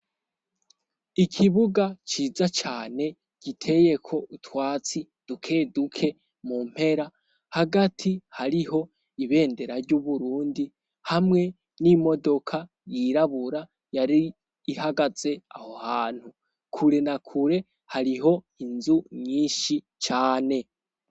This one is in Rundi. ikibuga ciza cane giteyeko utwatsi duke duke mu mpera hagati hariho ibendera ry'uburundi hamwe n'imodoka yirabura yari ihagaze aho hantu kure na kure hariho inzu nyinshi cane